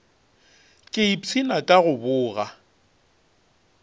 ke ipshina ka go boga